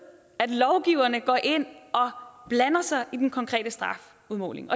at lovgiverne går ind og blander sig i den konkrete strafudmåling